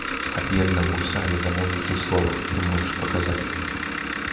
о бедном гусаре замолвите слово ты можешь показать